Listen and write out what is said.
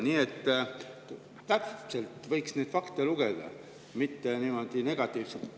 Nii et täpselt võiks neid fakte ette lugeda, mitte negatiivselt.